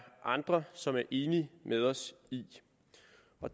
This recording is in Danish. andre som er enige med os i